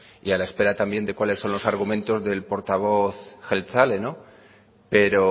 y a la espera también de cuáles son los argumentos del portavoz jeltzale pero